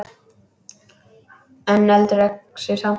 En veldur öxi samt!